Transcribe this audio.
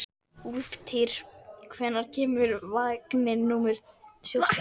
Úlftýr, hvenær kemur vagn númer fjórtán?